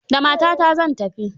Da matata zan tafi.